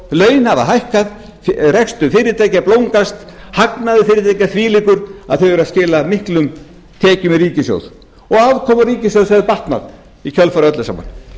laun hafa hækkað rekstur fyrirtækja blómgast hagnaður fyrirtækja þvílíkur að þau skila miklum tekjum í ríkissjóð og afkoma ríkissjóðs hefur batnað í kjölfarið á öllu saman